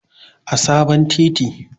a sabon titi